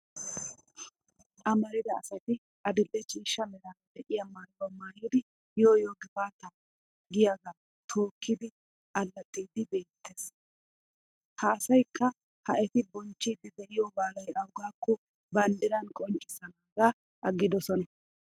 Amarida asati adil'e ciishsha meraara diya maayuwa maayidi yoo yoo gifaataa giyagaa tookkidi allaxxiiddi beettes. Ha asayikka ha eti bonchchiidi diyo balay awaagaakko banddiran qonccissanaagaa aggidosona.